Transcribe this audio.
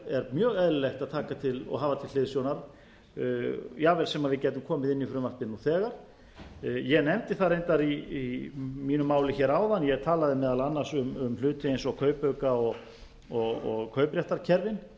er mjög eðlilegt að taka og hafa til hliðsjónar jafnvel sem við gætum komið inn í frumvarpið nú þegar ég nefndi það reyndar í mínu máli hér áðan ég talaði meðal annars um hluti eins og kaupauka og kaupréttarkerfin